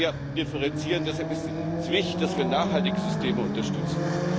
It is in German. Da müssen wir sehr differenzieren. Deshalb ist es wichtig, dass wir nachhaltige Systeme unterstützen.